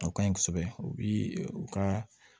O ka ɲi kosɛbɛ u bi u ka